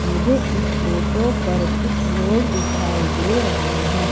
मुझे इस फोटो पर कुछ लोग दिखाई दे रहे है।